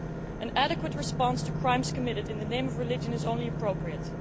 An adequate response to crimes committed in the name of religion is only appropriate.